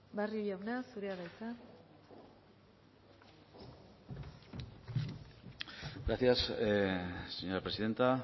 barrio jauna zurea da hitza gracias señora presidenta